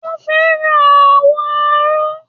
O fẹ́ràn àwọ̀ aró.